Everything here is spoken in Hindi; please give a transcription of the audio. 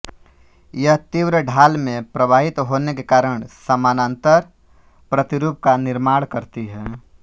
यह तीव्र ढाल में प्रवाहित होने के कारण समानांतर प्रतिरूप का निर्माण करती है